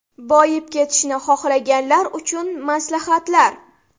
Boyib ketishni xohlaganlar uchun maslahatlar.